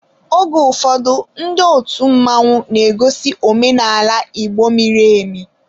Oge ụfọdụ ndị otu mmanwu na egosi omenaala Igbo miri emi.